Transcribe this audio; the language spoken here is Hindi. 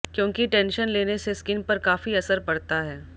क्योंकि टेंशन लेने से स्किन पर काफी असर पड़ता है